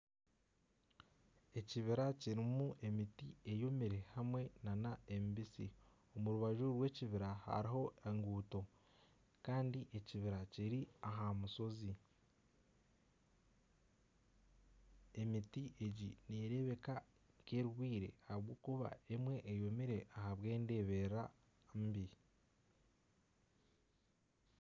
Ekibira kirimu emiti eyomire hamwe nana emibisi . Omu rubaju rw'ekibira hariho enguuto Kandi ekibira kiri aha mushozi . Emiti egi nerebeka nka erwaire ahabwokuba emwe eyomire ahabwa endeberera embi.